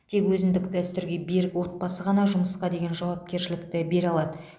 тек өзіндік дәстүрге берік отбасы ғана жұмысқа деген жауапкершілікті бере алады